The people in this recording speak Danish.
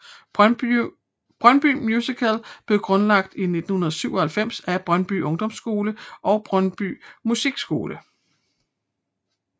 Brøndby Musical blev grundlagt i 1997 af Brøndby Ungdomsskole og Brøndby Musikskole